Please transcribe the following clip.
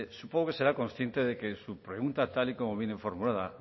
supongo que será consciente de que su pregunta tal y como viene formulada